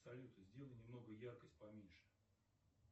салют сделай немного яркость поменьше